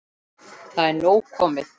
Það er nóg komið.